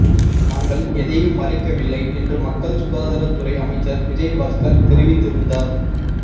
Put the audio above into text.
நாங்கள் எதையும் மறைக்கவில்லை என்று மக்கள் சுகாதாரத்துறை அமைச்சர் விஜயபாஸ்கர் தெரிவித்திருந்தார்